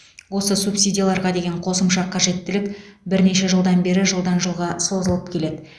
осы субсидияларға деген қосымша қажеттілік бірнеше жылдан бері жылдан жылға созылып келеді